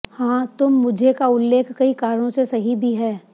हां तुम मुझे का उल्लेख कई कारणों से सही भी है